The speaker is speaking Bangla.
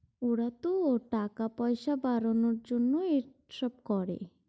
ওরাতো টাকা পয়সা বাড়ানোর জন্যই এসব করে।